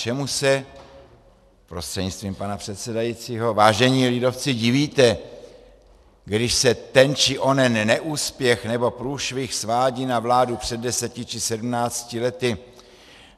Čemu se, prostřednictvím pana předsedajícího vážení lidovci, divíte, když se ten či onen neúspěch nebo průšvih svádí na vládu před deseti či sedmnácti lety?